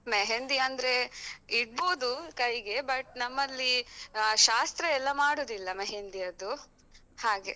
मेहँदी ಅಂದ್ರೆ ಇಡ್ಬೋದು ಕೈಗೆ, but ನಮ್ಮಲ್ಲಿ ಅಹ್ ಶಾಸ್ತ್ರ ಎಲ್ಲ ಮಾಡುದಿಲ್ಲ मेहँदी ಯದ್ದು ಹಾಗೆ.